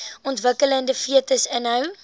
ontwikkelende fetus inhou